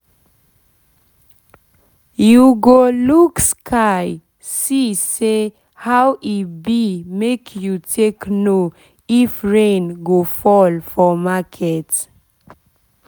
you go look sky sky see how e be make you take know if rain go fall for market